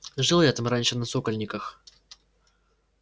жил я там раньше на сокольниках